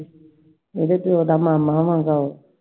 ਇਹਦੇ ਚ ਇਹਦਾ ਮਾਮਾ ਏ I